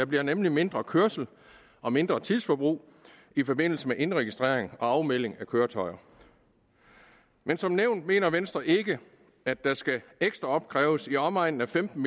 bliver nemlig mindre kørsel og mindre tidsforbrug i forbindelse med indregistrering og afmelding af køretøjer men som nævnt mener venstre ikke at der skal opkræves i omegnen af femten